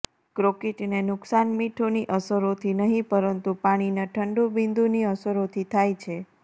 કોંક્રિટને નુકસાન મીઠુંની અસરોથી નહીં પરંતુ પાણીના ઠંડું બિંદુની અસરોથી થાય છે